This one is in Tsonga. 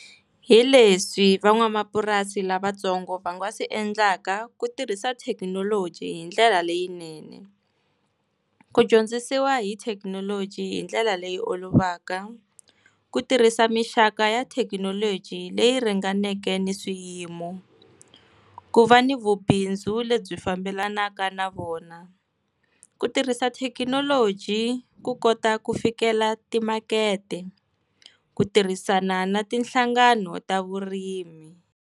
Hi leswi van'wamapurasi lavatsongo va nga swi endlaka ku tirhisa thekinoloji hi ndlela leyinene. Ku dyondzisiwa hi thekinoloji hi ndlela leyi olovaka, ku tirhisa minxaka ya thekinoloji leyi ringaneke ni swiyimo, ku va ni vubindzu lebyi fambelanaka na vona, ku tirhisa thekinoloji ku kota ku fikela timakete, ku tirhisana na ti nhlangano ta vurimi.